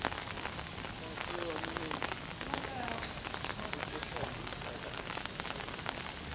make wamenzi u tohlambisa kakhe